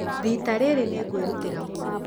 Rita rĩrĩ, nĩ ngwĩrutĩra mũno.